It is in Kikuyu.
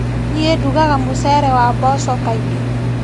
Niĩ ndugaga mũcere wa mboco kaingĩ.